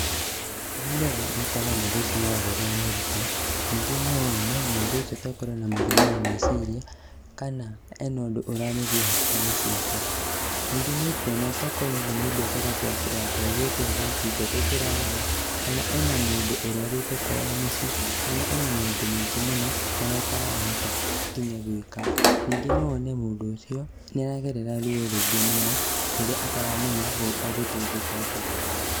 Wa mbere, nĩ ũkuona mũndũ ũcio nĩaragerera moritũ, ningĩ nowone mũndũ ũcio tokorwo ena mũrimũ wa meciria, kana, ena ũndũ ũramũgia hakiri-inĩ ciake. Ningĩ nĩũkuona tokorwo either nĩ biacara yake ĩthiĩte thĩ kĩhiko gĩake kĩrarema kana ena mũndũ ũrwarĩte kwao mũciĩ kana ena maũndũ maingĩ mũno marĩa atarahota nginya gwĩka. Nyingĩ no wone mũndũ ũcio, nĩaragerera ruo rũingĩ mũno rũrĩa ataramenya egũteithĩka atĩa.